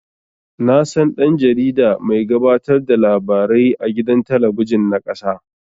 Nasan dan-jarida mai gabatar da labarai a gidan talabijin na ƙasa